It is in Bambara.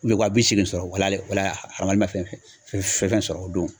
U bɛ waa bi seegin sɔrɔ o la o la a kɔni ma fɛn fɛn sɔrɔ o don.